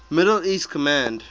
middle east command